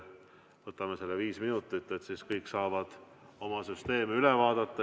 Võtame vaheaja viis minutit, siis saavad kõik oma süsteemi üle vaadata.